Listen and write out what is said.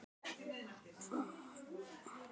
Hvassviðri er kennt um óhappið